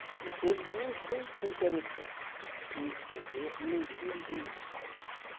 Porque ele... Ninguém se interessou em escrever, nem filhos, nem nada.